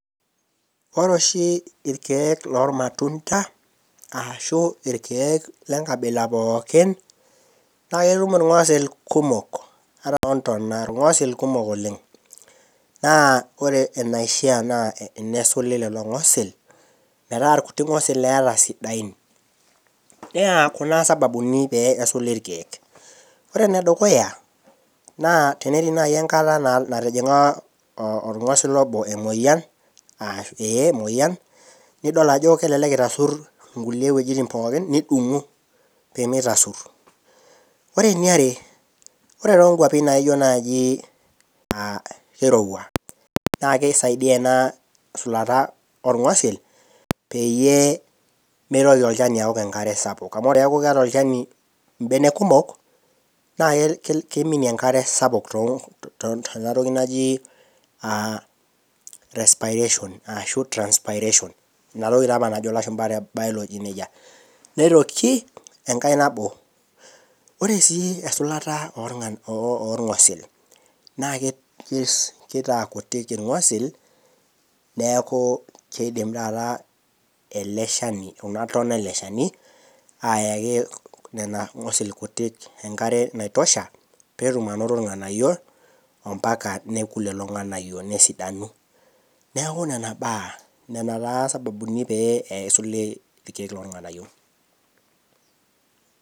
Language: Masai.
ore oshi ilkeek loo ilmatunda, arashu ikeek lenkabila pooki naa ketum ilng'osil kumok ontona ilng'osil kumok oleng' naa ore enaishaa naa tenesuli ilng'osil metaa irkuti ng'osil eeta sidain naa kuna isababuni pee esuli ilkeek, ore ene dukuya naa teneti enkata natijing'a naaji olng'osila obo emoyian nidol ajo kelelek itasur inkulie wejitin pooki nidung'u pee mintasur, ore eniare ore too inkwapi naijo naaji kirowua naa kisaidia ena sulata oo ng'osil peyie mitoki olchani awuok enkare sapuk ore pee eeku keeta olchani imenek kumok naa kiminie enkare sapuk tena toki naji respiration, ashu transpirations' ina toki taa apa najo ilashumba te biology nejia, nitoki enkae nabo, oore sii esulata oo ilng'osil naa kitaa kutik ilng'osil , neeku kidim taata kulo ng'osil enkare naitosha pee etum anoto ilng'anayio ore lelo ng'anayio nesidanu, neeku nena baa nena taa isababuni pee edung'i ilng'osil.